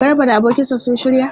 Garba da abokinsa sun shirya?